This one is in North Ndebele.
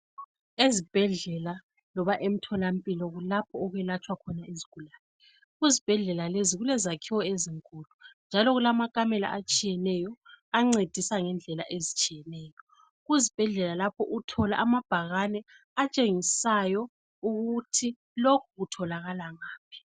Ezibhedlela loba emtholampilo kulapho ukwelatshwa khona izigulane. Kuzibhedlela lezi kulezakhiwo ezinkulu njalo kulamakamela atshiyeneyo ancedisa ngendlela ezitshiyeneyo. Kuzibhedlela lapho uthola amabhakane atshengisayo ukuthi lokhu kutholakala ngaphi.